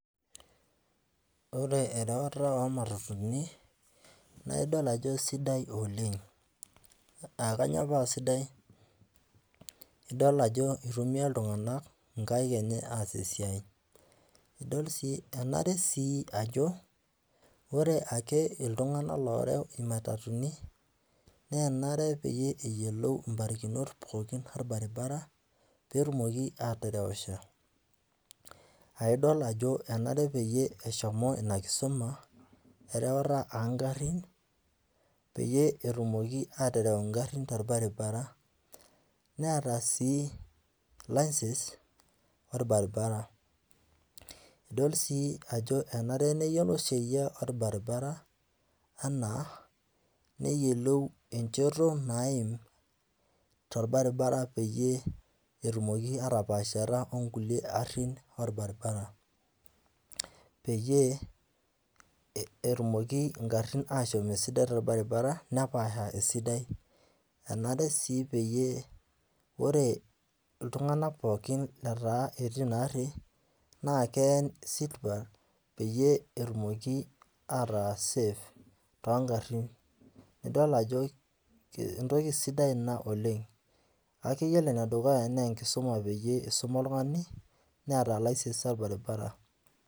Ore erewata oo imatatuni, naa idol ajo sidai oleng' , aa kainyooo paa sidai, idol ajo eitumiya iltung'ana inkaik aas esiai. Idol sii enare siia ajo, ore ake iltung'ana ooreu imatatuni, naa enare pee eyolou imbarakinot pookin olbaribara pee etumoki atarewisho. Idol ajo, enare peyie eshomo ina kisuma, erewata oo ngarin peyie etumoki aatereu ingaari tolbaribara, neata sii license olbaribara. Idol sii ajo enare pee eyiolo olbaribara, anaa neyiolou enchoto naim tolbaribara peyie etumoki atapaashata o nkulie garin, olbaribara, peyie etumoki ing'arin ashom esidai tolbaribara, nepaasha esidai, enare sii peyie, ore iltung'ana pookin letaa etii ina gari, naa keen seat belt peyie etumoki ataa safe tooongarin. Nidol ajo entoki sidai ina oleng'kake iyiolo ene dukuya na enkisuma pee eisuma oltung'ani neata license olbaribara.